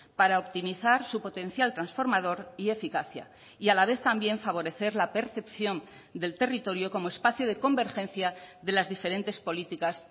para optimizar su potencial transformador y eficacia y a la vez también favorecer la percepción del territorio como espacio de convergencia de las diferentes políticas